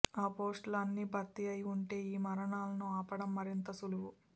ఆ పోస్టులు అన్నీ భర్తీ అయి ఉంటే ఈ మరణాలను ఆపడం మరింత సులువు